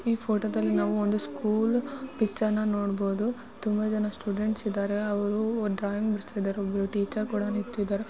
ಈ ಫೋಟೋದಲ್ಲಿ ನಾವೊಂದು ಸ್ಕೂಲ್ ಪಿಚ್ಚರ್ನ ನೋಡಬಹುದು. ತುಂಬಾ ಜನ ಸ್ಟೂಡೆಂಟ್ಸ್ ಇದ್ದಾರೆ ಅವರು ಡ್ರಾಯಿಂಗ್ ಬಿಡಿಸ್ತಾ ಇದ್ದಾರೆ. ಒಬ್ಬರು ಟೀಚರ್ ಕೂಡ ನಿಂತಿದರೆ.